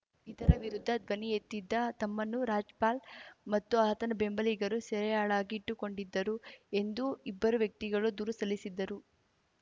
ಇದರ ವಿರುದ್ಧ ಧ್ವನಿಯೆತ್ತಿದ್ದ ತಮ್ಮನ್ನು ರಾಜ್ಪಾಲ್‌ ಮತ್ತು ಆತನ ಬೆಂಬಲಿಗರು ಸೆರೆಯಾಳಾಗಿ ಇಟ್ಟುಕೊಂಡಿದ್ದರು ಎಂದು ಇಬ್ಬರು ವ್ಯಕ್ತಿಗಳು ದೂರು ಸಲ್ಲಿಸಿದ್ದರು